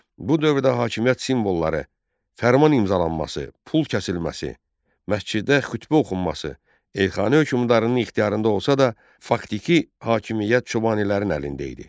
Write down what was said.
Bu dövrdə hakimiyyət simvolları: fərman imzalanması, pul kəsilməsi, məsciddə xütbə oxunması Elxani hökmdarının ixtiyarında olsa da, faktiki hakimiyyət Çobanilərin əlində idi.